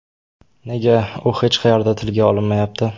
Nega u hech qayerda tilga olinmayapti?